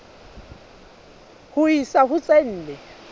ho isa ho tse nne